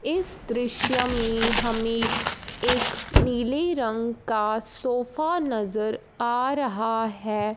इस दृश्य में हमें एक नीले रंग का सोफा नजर आ रहा है।